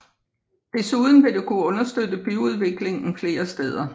Desuden vil det kunne understøtte byudviklingen flere steder